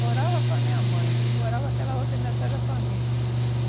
Morava com a minha mãe e morava com aquela outra metade da família.